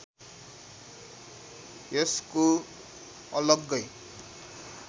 यसको अलग्गै